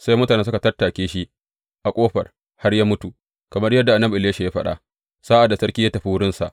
Sai mutane suka tattake shi a ƙofar har ya mutu, kamar yadda annabi Elisha ya faɗa sa’ad da sarki ya tafi wurinsa.